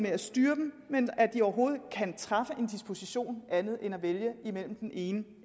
at styre dem men for at de overhovedet kan træffe en disposition der andet end at vælge imellem den ene